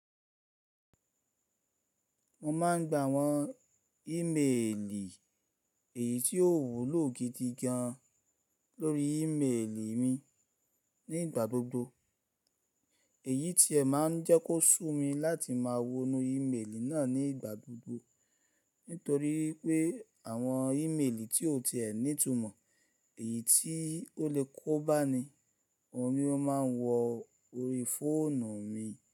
Mo máa ń gba àwọn ímeèlì èyí tí ó wúlò gidi gan lórí ímeèlì mi nígbà gbogbo. Èyí ti ẹ máa ń jẹ́ kó sù mí láti máa wonú ímeèlì náà nígbà gbogbo. Nítorí pé àwọn ímeèlì tí o ti ẹ ní ìtumọ̀, èyí tí ó lè kó bá ni, òun ni ó máa ń wọ orí fóònù mi.